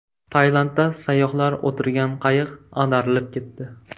Tailandda sayyohlar o‘tirgan qayiq ag‘darilib ketdi.